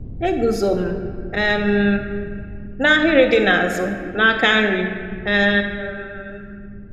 Eguzo m um n’ahịrị dị n’azụ, n’aka nri. um